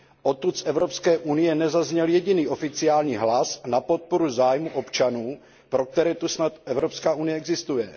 Odtud z Evropské unie nezazněl jediný oficiální hlas na podporu zájmu občanů, pro které tu snad Evropská unie existuje.